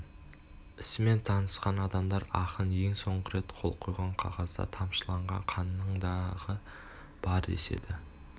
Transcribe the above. ісімен танысқан адамдар ақын ең соңғы рет қол қойған қағазда тамшылаған қанның дағы бар деседі